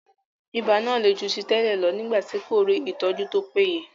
Ibà náà le ju ti tẹ́lẹ̀ lọ nígbà tí kò rí ìtọ́jú tí ó péye.